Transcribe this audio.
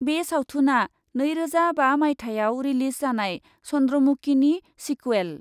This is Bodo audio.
बे सावथुनआ नैरोजा बा माइथायाव रिलिज जानाय चन्द्र'मुकिनि सिकुवेल।